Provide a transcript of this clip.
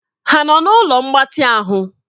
Ha nọ na ụlọ mgbatị ahụ?